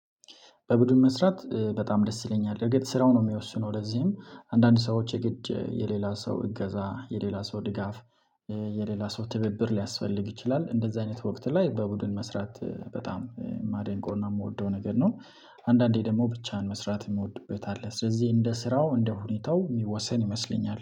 በቡድን መስራት በጣም ደስ ይለኛል እርግጥ ስራው ነው የሚወስነው ለዚህም አንዳንድ ሰዎች የግድ የሌላ ሰው እገዛ የሌላ ሰው ድጋፍ የሌላ ሰው ትብብር ሊያስፈልግ ይችላል እንደዚህ አይነት ወቅት ላይ በቡድን መስራት በጣም የማደንቀውና የምወደው ነገር ነው። አንዳንዴ ደግሞ ብቻን መስራት የምወድበት አለ ስለዚህ እንደ ስራው እንደ ሁኔታው የሚወሰን ይመስለኛል